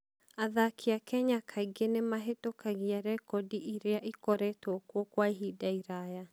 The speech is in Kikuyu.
Athaki a Kenya kaingĩ nĩ mahĩtũkagia rekondi iria ikoretwo kuo kwa ihinda iraya.